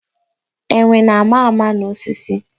Enwe na-ama ama n'osisi.